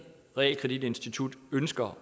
realkreditinstitut ønsker